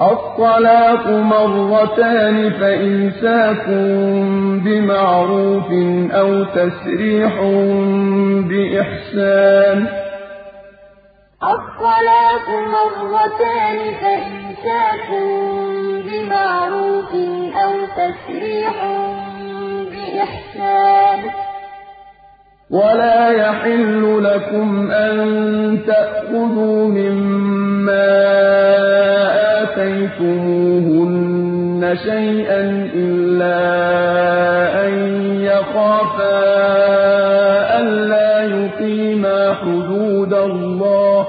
الطَّلَاقُ مَرَّتَانِ ۖ فَإِمْسَاكٌ بِمَعْرُوفٍ أَوْ تَسْرِيحٌ بِإِحْسَانٍ ۗ وَلَا يَحِلُّ لَكُمْ أَن تَأْخُذُوا مِمَّا آتَيْتُمُوهُنَّ شَيْئًا إِلَّا أَن يَخَافَا أَلَّا يُقِيمَا حُدُودَ اللَّهِ ۖ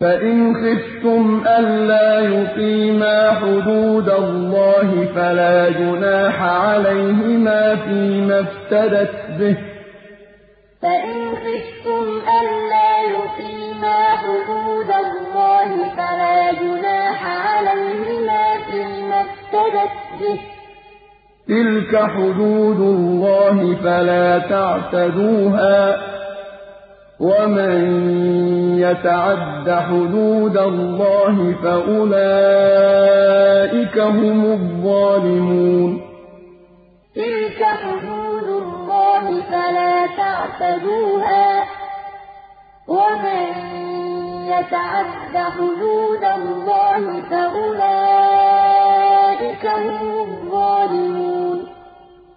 فَإِنْ خِفْتُمْ أَلَّا يُقِيمَا حُدُودَ اللَّهِ فَلَا جُنَاحَ عَلَيْهِمَا فِيمَا افْتَدَتْ بِهِ ۗ تِلْكَ حُدُودُ اللَّهِ فَلَا تَعْتَدُوهَا ۚ وَمَن يَتَعَدَّ حُدُودَ اللَّهِ فَأُولَٰئِكَ هُمُ الظَّالِمُونَ الطَّلَاقُ مَرَّتَانِ ۖ فَإِمْسَاكٌ بِمَعْرُوفٍ أَوْ تَسْرِيحٌ بِإِحْسَانٍ ۗ وَلَا يَحِلُّ لَكُمْ أَن تَأْخُذُوا مِمَّا آتَيْتُمُوهُنَّ شَيْئًا إِلَّا أَن يَخَافَا أَلَّا يُقِيمَا حُدُودَ اللَّهِ ۖ فَإِنْ خِفْتُمْ أَلَّا يُقِيمَا حُدُودَ اللَّهِ فَلَا جُنَاحَ عَلَيْهِمَا فِيمَا افْتَدَتْ بِهِ ۗ تِلْكَ حُدُودُ اللَّهِ فَلَا تَعْتَدُوهَا ۚ وَمَن يَتَعَدَّ حُدُودَ اللَّهِ فَأُولَٰئِكَ هُمُ الظَّالِمُونَ